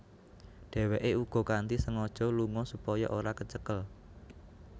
Dheweke uga kanthi sengaja lunga supaya ora kecekel